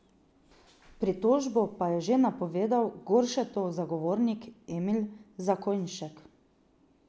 Pritožbo pa je že napovedal Goršetov zagovornik Emil Zakojnšek.